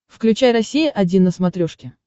включай россия один на смотрешке